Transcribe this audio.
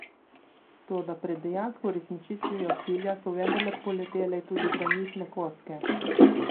Toda pred dejansko uresničitvijo cilja so vendarle poletele tudi granitne kocke.